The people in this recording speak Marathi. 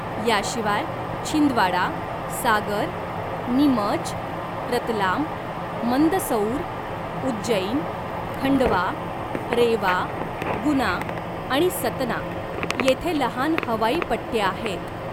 याशिवाय, छिंदवाडा, सागर, नीमच, रतलाम, मंदसौर, उज्जैन, खंडवा, रेवा, गुना आणि सतना येथे लहान हवाई पट्ट्या आहेत.